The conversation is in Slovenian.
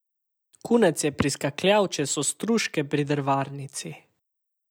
Kunec je priskakljal čez ostružke pri drvarnici.